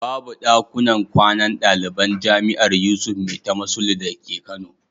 Babu ɗakunan kwanan ɗaliban jami'ar Yusuf Maitama Sule dake Kano.